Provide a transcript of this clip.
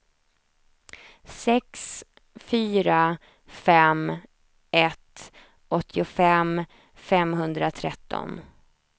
sex fyra fem ett åttiofem femhundratretton